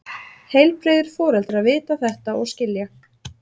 Heilbrigðir foreldrar vita þetta og skilja.